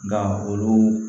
Nka olu